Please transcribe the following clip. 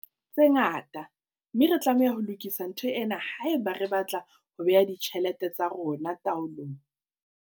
tse ngata, mme re tlameha ho lokisa ntho ena haeba re batla ho bea ditjhelete tsa rona taolong.